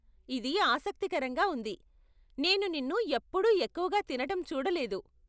ఇది ఆసక్తికరంగా ఉంది, నేను నిన్ను ఎప్పుడూ ఎక్కువగా తినటం చూడలేదు.